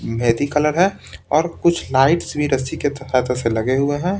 वेदी कलर है और कुछ लाइट्स भी रस्सी के त से लगे हुए हैं।